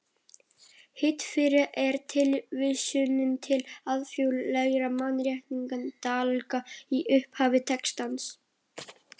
Hið fyrra er tilvísunin til alþjóðlegra mannréttindalaga í upphafi textans.